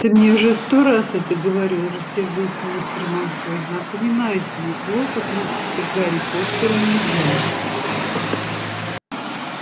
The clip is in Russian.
ты мне уже сто раз это говорил рассердился мистер малфой напоминаю тебе плохо относиться к гарри поттеру нельзя